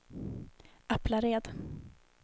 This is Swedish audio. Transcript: Aplared